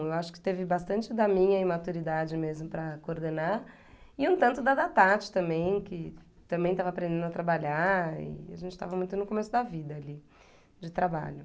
Eu acho que teve bastante da minha imaturidade mesmo para coordenar e um tanto da da Tati também, que também estava aprendendo a trabalhar e a gente estava muito no começo da vida ali, de trabalho.